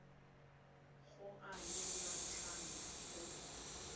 go a le matlhano go